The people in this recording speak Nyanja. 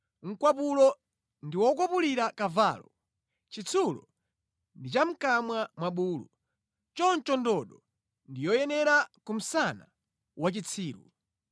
Mkwapulo ndi wokwapulira kavalo, chitsulo ndi cha mʼkamwa mwa bulu, choncho ndodo ndi yoyenera ku msana wa chitsiru.